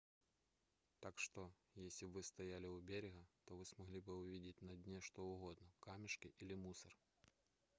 так что если бы вы стояли у берега то смогли бы увидеть на дне что угодно камешки или мусор